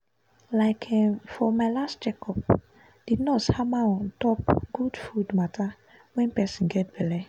um um for my last check up the nurse hammer on top good food matter wen person get belle